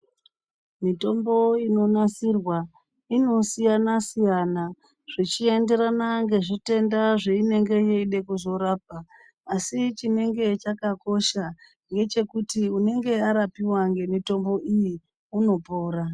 Mitombo inonasirwa inosiyana siyana zvechienderana nezvitenda zveinenge yeide kuzorapa. Asi chinenge chakakosha ngechekuti unenge arapiwa ngemitombo iyi unopora.